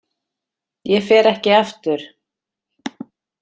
Ég fer ekki aftur.